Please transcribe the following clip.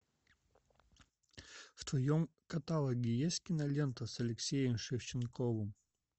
в твоем каталоге есть кинолента с алексеем шевченковым